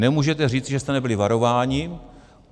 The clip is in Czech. Nemůžete říct, že jste nebyli varováni.